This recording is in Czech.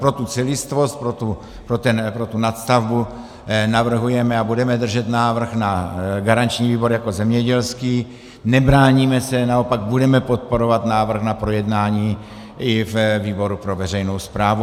Pro tu celistvost, pro tu nadstavbu navrhujeme a budeme držet návrh na garanční výbor jako zemědělský, nebráníme se, naopak budeme podporovat návrh na projednání i ve výboru pro veřejnou správu.